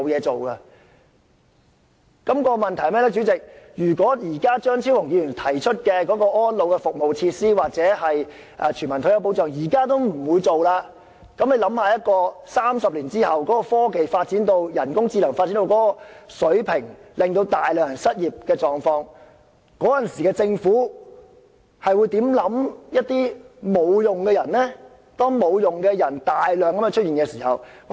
主席，問題就是，如果張超雄議員倡議的安老服務設施或全民退休保障，政府現時也不會落實，那麼大家可以想象到在30年後，當科技和人工智能發展到某水平而導致大量人口失業，屆時政府會如何看待這些沒有用的人呢？